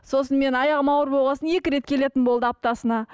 сосын мен аяғым ауыр болған соң екі рет келетін болды аптасына